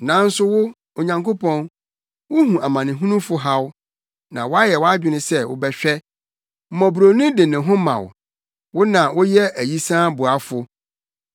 Nanso wo, Onyankopɔn, wuhu amanehunufo haw; na wayɛ wʼadwene sɛ wobɛhwɛ. Mmɔborɔni de ne ho ma wo; wo na woyɛ ayisaa boafo.